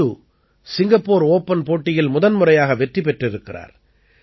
சிந்து Singapore open போட்டியில் முதன்முறையாக வெற்றி பெற்றிருக்கிறார்